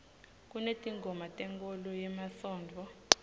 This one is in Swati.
kunetingoma tenkholo yemasontfo